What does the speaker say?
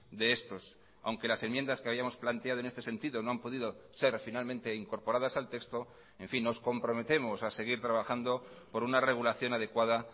de estos aunque las enmiendas que habíamos planteado en este sentido no han podido ser finalmente incorporadas al texto en fin nos comprometemos a seguir trabajando por una regulación adecuada